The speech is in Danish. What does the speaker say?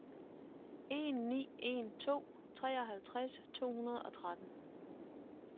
en ni en to treoghalvtreds to hundrede og tretten